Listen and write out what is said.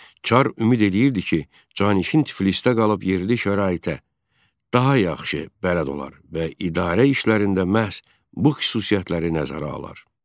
Çar ümid eləyirdi ki, Canişin Tiflisdə qalıb yerli şəraitə daha yaxşı bələd olar və idarə işlərində məhz bu xüsusiyyətləri nəzərə alar.